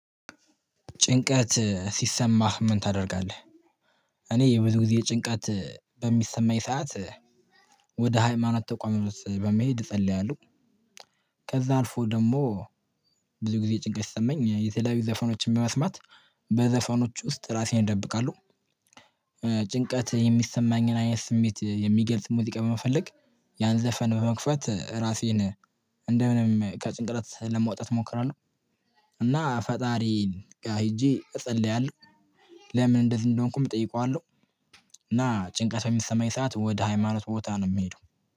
ጭንቀት ሲሰማህ ምን ታደርጋለህ? እኔ ብዙ ጊዜ ጭንቀት በሚሰማኝ ሰዓት ወደ ሃይማኖት ተቋም በመሄድ እጸልያለሁ። ከዛ አልፎ ደግሞ ብዙ ጊዜ ጭንቀት ሲሰማኝ የተለያዩ ዘፈኖችን በመስማት በዘፈኖች ውስጥ ራሴን ደብቃለው። ጭንቀት የሚሰማኝን አይነት ስሜት የሚገልጽ ሙዚቃ በመፈለግ ያን ዘፈን በመክፈት ራሴን እንደምንም ከጭንቀት ለመውጣት ሞክራለሁ። እና ፈጣሪ ጋር ሄጄ እጸልያለሁ። ለምን እንደዚህ እንደሆንኩም እጠይቀዋለሁ? እና ጭንቀት በሚሰማኝ ሰዓት ወደ ሃይማኖት ቦታ ነው የሚሄደው